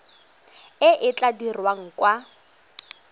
e e tla dirwang kwa